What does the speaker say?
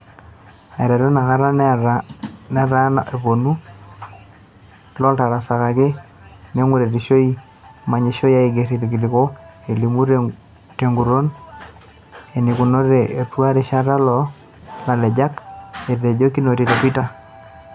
"Aiteru inakata netaa eponu lootarasakaki tenguretisho manyisho ang iger ilkiliku elimu teguton enikunakinote atua resheta loolalejak," Etejo Kinoti te twitter.